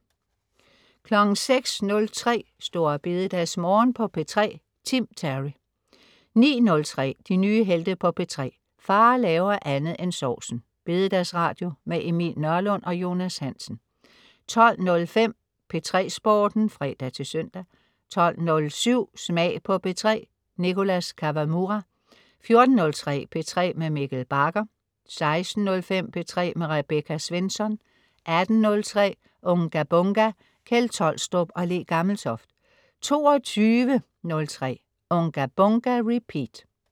06.03 Store BededagsMorgen på P3. Tim Terry 09.03 De nye helte på P3. Far laver andet end sovsen! Bededagsradio med Emil Nørlund og Jonas Hansen 12.05 P3 Sporten (fre-søn) 12.07 Smag på P3. Nicholas Kawamura 14.03 P3 med Mikkel Bagger 16.05 P3 med Rebecca Svensson 18.03 Unga Bunga! Kjeld Tolstrup og Le Gammeltoft 22.03 Unga Bunga! Repeat